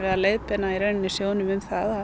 að leiðbeina sjóðnum um það